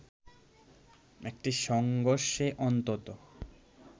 এই সংঘর্ষে অন্তত